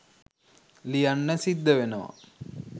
ලියන්න සිද්ද වෙනව